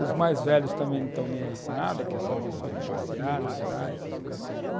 Os mais velhos também não estão nem aí com nada, quer saber só de passear, namorar, essas coisas.